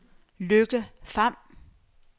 Lykke Pham